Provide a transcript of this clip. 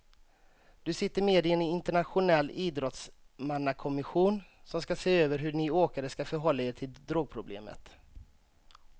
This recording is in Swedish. Du sitter med i en internationell idrottsmannakommission som ska se över hur ni åkare ska förhålla er till drogproblemet.